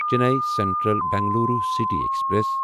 Chennai central Bengaluru city express